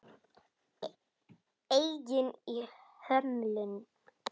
Eigin hömlum.